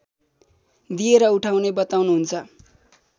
दिएर उठाउने बताउनुहुन्छ